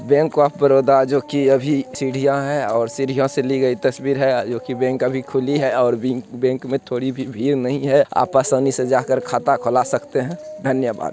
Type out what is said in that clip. Bank of Baroda जो की अभी सीढियाँ हैं और सीढियाँ से ली गयी तस्वीर है जो की बैंक अभी खुली है और बिंक बैंक में थोड़ी भी भीड़ नहीं है आप आसानी से जा कर खाता खोला सकते हैं धन्यवाद।